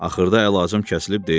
Axırda əlacım kəsilib deyirəm.